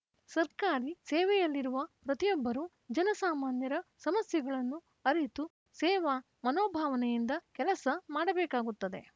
ಸರ್ಕಾರಿ ಸೇವೆಯಲ್ಲಿರುವ ಪ್ರತಿಯೊಬ್ಬರೂ ಜನಸಾಮಾನ್ಯರ ಸಮಸ್ಯೆಗಳನ್ನು ಅರಿತು ಸೇವಾ ಮನೋಭಾವನೆಯಿಂದ ಕೆಲಸ ಮಾಡಬೇಕಾಗುತ್ತದೆ